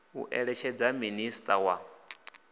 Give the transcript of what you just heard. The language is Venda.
u eletshedza minis a wa